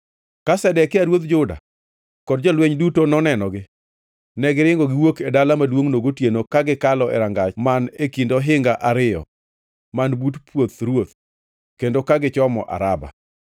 Ka Zedekia ruodh Juda kod jolweny duto nonenogi, negiringo giwuok e dala maduongʼno gotieno ka gikalo e rangach man e kind ohinga ariyo man but puoth ruoth, kendo ka gichomo Araba.